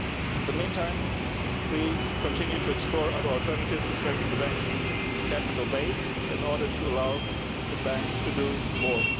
In the meantime, we continue to explore other alternatives in order to strengthen the Bank's capital base so as to allow the Bank to do more.